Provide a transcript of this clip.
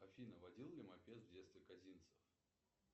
афина водил ли мопед в детстве козинцев